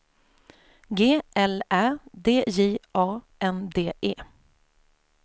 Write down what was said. G L Ä D J A N D E